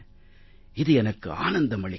இது எனக்கு ஆனந்தம் அளிக்கிறது